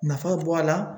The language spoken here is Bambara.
Nafa bɔ a la